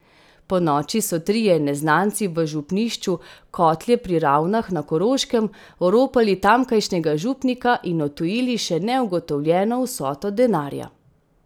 Ponoči so trije neznanci v župnišču Kotlje pri Ravnah na Koroškem oropali tamkajšnjega župnika in odtujili še neugotovljeno vsoto denarja.